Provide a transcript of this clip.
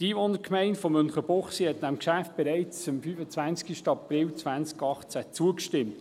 Die Einwohnergemeinde Münchenbuchsee hat dem Geschäft bereits am 25. April 2018 zugestimmt.